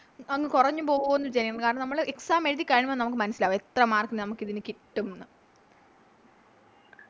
അങ് കൊറഞ്ഞ് പോകൊന്ന് ചെയ്യും കാരണം നമ്മള് Exam എഴുതി കഴിയുമ്പോ നമുക്ക് മനസ്സിലാകും എത്ര Mark ന് നമുക്കിതിന് കിട്ടുംന്ന്